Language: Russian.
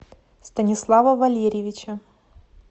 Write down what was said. станислава валерьевича